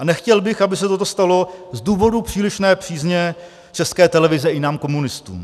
A nechtěl bych, aby se toto stalo z důvodu přílišné přízně České televize i nám komunistům.